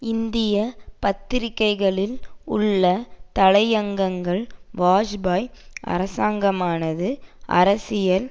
இந்திய பத்திரிக்கைகளில் உள்ள தலையங்கங்கள் வாஜ்பாயி அரசாங்கமானது அரசியல்